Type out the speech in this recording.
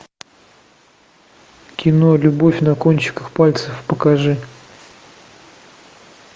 кино любовь на кончиках пальцев покажи